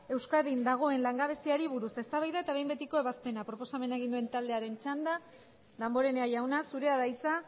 euskadin dagoen langabeziari buruz eztabaida eta behin betiko ebazpena proposamen egin duen taldearen txanda damborenea jauna zurea da hitza